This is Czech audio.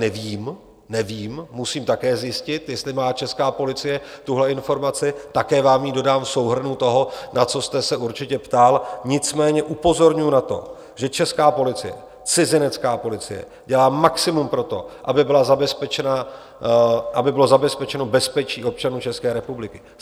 Nevím, musím také zjistit, jestli má česká policie tuhle informaci, také vám ji dodám v souhrnu toho, na co jste se určitě ptal, nicméně upozorňuji na to, že česká policie, cizinecká policie dělá maximum pro to, aby bylo zabezpečeno bezpečí občanů České republiky.